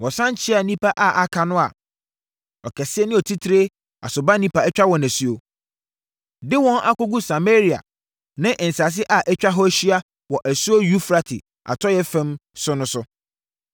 Wɔsane kyeaa nnipa a aka no a ɔkɛseɛ ne otitire Asurbanipa atwa wɔn asuo, de wɔn akɔgu Samaria ne nsase a atwa hɔ ahyia wɔ asuo Eufrate atɔeɛ fam no so no.